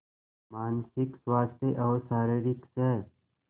मानसिक स्वास्थ्य और शारीरिक स्